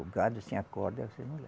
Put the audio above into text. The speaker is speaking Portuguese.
O gado sem a corda, você não leva.